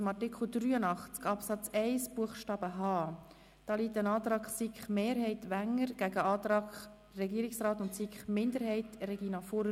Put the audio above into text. Zu Artikel 83 Absatz 1 Buchstabe h (neu) liegt der Antrag SiK-Mehrheit/Wenger gegen den Antrag Regierungsrat/SiK-Minderheit/ vor.